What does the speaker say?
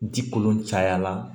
Ji kolon caya la